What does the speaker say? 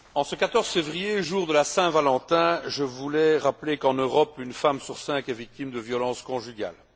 Monsieur le Président, en ce 14 février, jour de la Saint Valentin, je voulais rappeler qu'en Europe, une femme sur cinq est victime de violences conjugales.